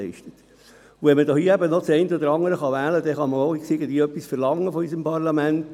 Wenn man hier eben noch das eine oder andere wählen kann, dann kann man auch etwas verlangen vonseiten unseres Parlaments.